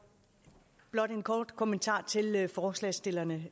blot en kort kommentar til forslagsstillerne